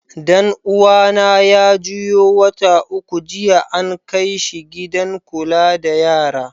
Dan uwa na ya juyo wata uku jiya, an kai shi gidan Kulla da yara.